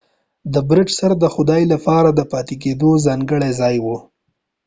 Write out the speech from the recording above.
د برج سر د خدای لپاره د پاتیدو ځانګړی ځای وو